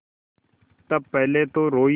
तब पहले तो रोयी